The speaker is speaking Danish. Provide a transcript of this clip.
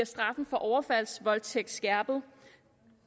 straffen for overfaldsvoldtægt bliver skærpet